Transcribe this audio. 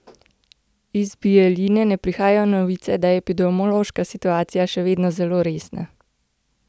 Iz Bijeljine pa prihajajo novice, da je epidemološka situacija še vedno zelo resna.